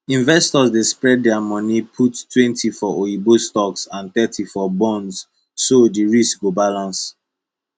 investors dey spread dia moni puttwentyfor oyibo stocks and thirty for bonds so di risk go balance